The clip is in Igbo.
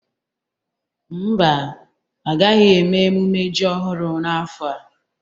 Ḿbà, agaghị eme emume ji ọhụrụ n'afọ a.